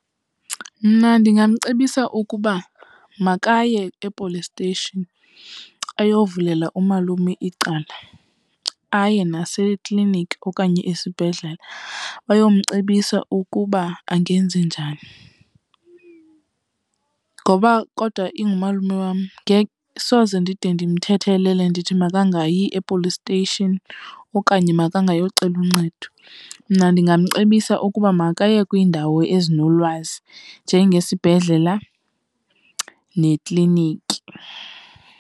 Mna ndingamcebisa ukuba makaye e-police station ayovulela umalume icala, aye nasekliniki okanye esibhedlele bayomcebisa ukuba angenze njani. Ngoba kodwa ingumalume wam, soze ndide ndimthethelele ndithi makangayi e-police station okanye makangayocela uncedo. Mna ndingamcebisa ukuba makaye kwiindawo ezinolwazi njengesibhedlela nekliniki.